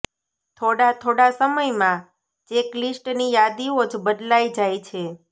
થોડા થોડા સમયમાં ચેકલીસ્ટની યાદીઓ જ બદલાઇ જાય છે